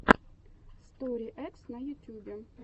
стори экс на ютюбе